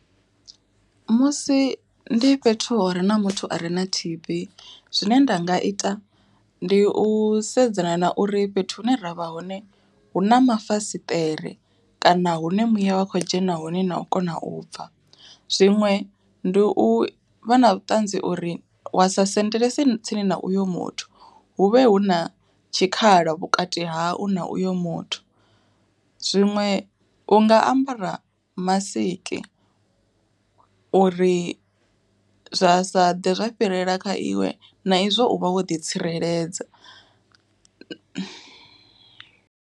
Musi ndi fhethu hure na muthu are na T_B zwine nda nga ita, ndi u sedzana na uri fhethu hune ravha hone hu na mafasiṱere, kana hune muya wa kho dzhena hone na u kona u bva. Zwiṅwe ndi u vha na vhuṱanzi uri wa sendelese tsini na uyo muthu, hu vhe hu na tshikhala vhukati hau na uyo muthu. Zwiṅwe u nga ambara masiki, uri zwa sa ḓe zwa fhirela kha iwe na izwo u vha wo ḓi tsireledza.